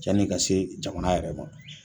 Jaan'i ka se jamana yɛrɛ